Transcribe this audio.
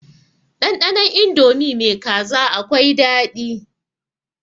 Ɗanɗanon indomi mai kaza akwai daɗi.